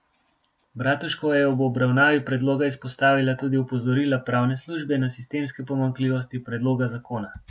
Bratuškova je ob obravnavi predloga izpostavila tudi opozorila pravne službe na sistemske pomanjkljivosti predloga zakona.